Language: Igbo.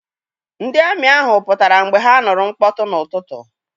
Ndị amị ahụ pụtara mgbe ha nụrụ mkpọtụ n'ụtụtụ.